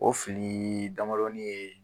O filii damadɔnin ye